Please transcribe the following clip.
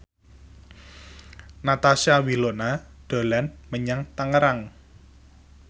Natasha Wilona dolan menyang Tangerang